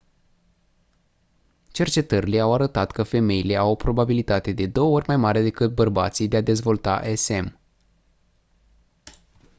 cercetările au arătat că femeile au o probabilitate de două ori mai mare decât bărbații de a dezvolta sm